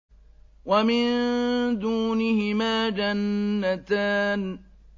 وَمِن دُونِهِمَا جَنَّتَانِ